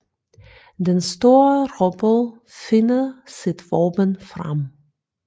Den store robot finder sit våben frem